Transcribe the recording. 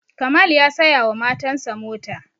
kamal ya saya wa matan sa mota